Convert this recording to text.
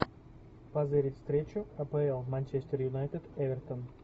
позырить встречу апл манчестер юнайтед эвертон